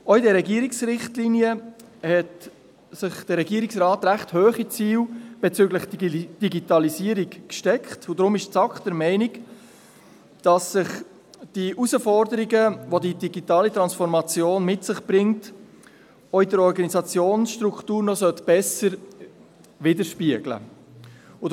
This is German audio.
Auch in den Regierungsrichtlinien hat sich der Regierungsrat recht hohe Ziele bezüglich Digitalisierung gesteckt, und deshalb ist die SAK der Meinung, dass sich die Herausforderungen, welche die digitale Transformation mit sich bringt, auch in der Organisationsstruktur noch besser widerspiegeln sollten.